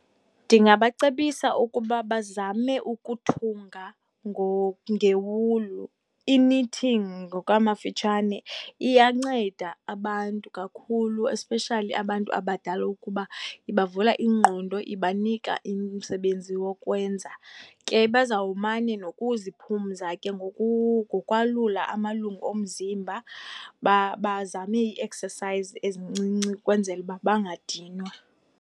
Ndingabacebisa ukuba bazame ukuthunga ngewulu, i-nitting ngokwamafitshane, iyanceda abantu kakhulu, especially abantu abadala ukuba ibavula ingqondo, ibanika umsebenzi wokwenza. Ke bazawumane nokuziphumza ke ngokwalula amalungu omzimba, bazame ii-exercise ezincinci ukwenzela ukuba bangadinwa.